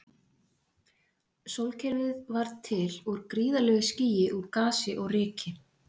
Sólkerfið varð til úr gríðarlegu skýi úr gasi og ryki.